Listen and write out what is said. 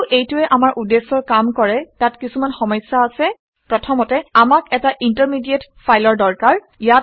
ঘদিও এইটোৱে আমাৰ উদ্দেশ্যৰ কাম কৰে তাত কিছুমান সমস্যা আছে। প্ৰথমতে আমাক এটা ইন্টাৰমিডিয়েট ফাইলৰ দৰকাৰ